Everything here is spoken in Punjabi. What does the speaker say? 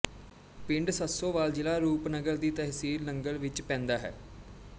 ਪਿੰਡ ਸੰਸੋਵਾਲ ਜ਼ਿਲਾ ਰੂਪਨਗਰ ਦੀ ਤਹਿਸੀਲ ਨੰਗਲ ਵਿੱਚ ਪੈਂਦਾ ਹੈ